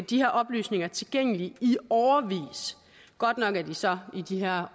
de her oplysninger tilgængelige i årevis godt nok er de så i de her